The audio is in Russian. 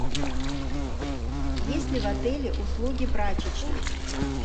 есть ли в отеле услуги прачечной